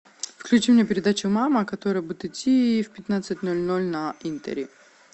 включи мне передачу мама которая будет идти в пятнадцать ноль ноль на интере